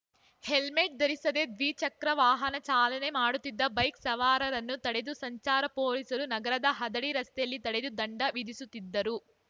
helmet ಧರಿಸದೆ ದ್ವಿಚಕ್ರ ವಾಹನ ಚಾಲನೆ ಮಾಡುತ್ತಿದ್ದ ಬೈಕ್‌ ಸವಾರರನ್ನು ತಡೆದು ಸಂಚಾರ ಪೊಲೀಸರು ನಗರದ ಹದಡಿ ರಸ್ತೆಯಲ್ಲಿ ತಡೆದು ದಂಡ ವಿಧಿಸುತ್ತಿದ್ದರು